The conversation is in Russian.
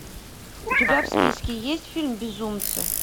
у тебя в списке есть фильм безумцы